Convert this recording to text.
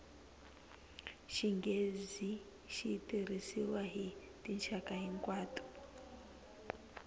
xinghezi xi tirhisiwa hi tinxaka hinkwato